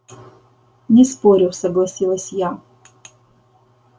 не спорю согласилась я